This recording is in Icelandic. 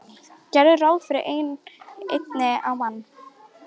Gerðu ráð fyrir einni á mann.